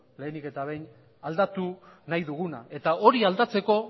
lehenik eta behin aldatu nahi duguna eta hori aldatzeko